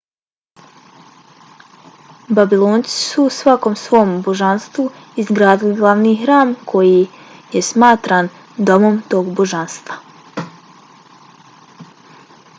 babilonci su svakom svom božanstvu izgradili glavni hram koji je smatran domom tog božanstva